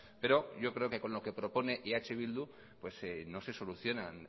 pero yo creo que con lo que propone eh bildu pues no se solucionan